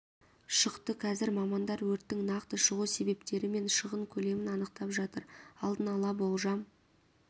шықты қазір мамандар өрттің нақты шығу себептері мен шығын көлемін анықтап жатыр алдын ала болжам